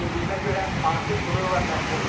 Bildiyimə görə, artıq bununla məşğuldular.